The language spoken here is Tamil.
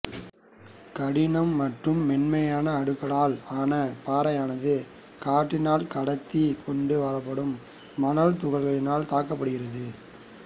கடின மற்றும் மென்மையான அடுக்குகளால் ஆன பாறையானது காற்றினால் கடத்தி கொண்டு வரப்படும் மணல் துகள்களினால் தாக்கப்படுகின்றது